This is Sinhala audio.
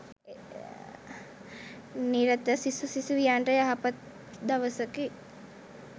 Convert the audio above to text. නිරත සිසු සිසුවියන්ට යහපත් දවසකි.